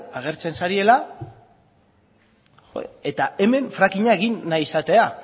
agertzen zaretela eta hemen fracking a egin nahi izatea